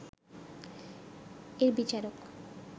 এর বিচারক